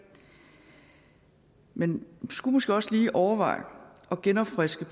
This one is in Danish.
men vi skulle måske også lige overveje at genopfriske